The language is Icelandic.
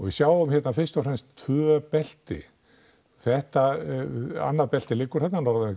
við sjáum hérna fyrst og fremst tvö belti þetta annað beltið liggur þarna norðan